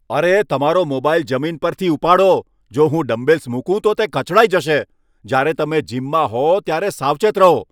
અરે, તમારો મોબાઈલ જમીન પરથી ઉપાડો, જો હું ડમ્બેલ્સ મૂકું તો તે કચડાઈ જશે, જ્યારે તમે જીમમાં હો ત્યારે સાવચેત રહો.